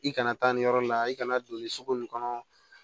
I kana taa nin yɔrɔ la i kana don nin sugu nin kɔnɔ